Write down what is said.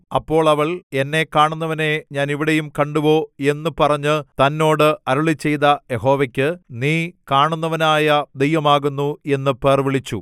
അപ്പോൾ അവൾ എന്നെ കാണുന്നവനെ ഞാൻ ഇവിടെയും കണ്ടുവോ എന്ന് പറഞ്ഞ് തന്നോട് അരുളിച്ചെയ്ത യഹോവയ്ക്ക് നീ കാണുന്നവനായ ദൈവമാകുന്നു എന്ന് പേർവിളിച്ചു